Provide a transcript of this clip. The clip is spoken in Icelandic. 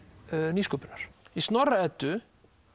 nýsköpunar í Snorra Eddu